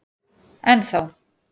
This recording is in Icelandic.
Enn þá.